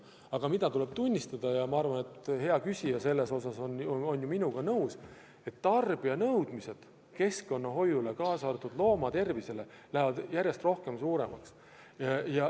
Seda aga tuleb küll tunnistada ja ma arvan, et hea küsija on minuga nõus, et tarbijate nõudmised keskkonnahoiule, kaasa arvatud loomade tervise hoidmisele, lähevad järjest suuremaks.